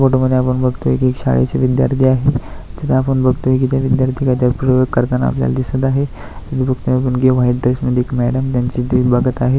फोटॉमध्ये आपण बघतोय की शाळेचे विद्यार्थी आहे तिथ आपण बघतोय की ते विद्यार्थी काहीतरी प्रयोग करताना आपल्याला दिसत आहे व्हाईट ड्रेस मध्ये मॅडम त्यांची रील बघत आहे.